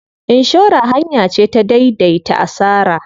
Inshora hanya ce ta dai dai ta asara.